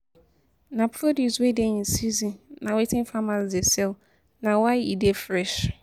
Na produce wey dey in season na wetin farmers dey sell na why e dey fresh